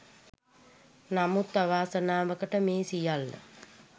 නමුත් අවාසනාවකට මේ සියල්ල